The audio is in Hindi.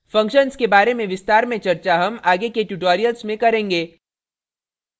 functions के बारे में विस्तार में चर्चा हम आगे के tutorials में करेंगे